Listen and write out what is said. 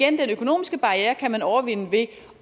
at den økonomiske barriere kan man overvinde ved